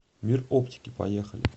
мир оптики поехали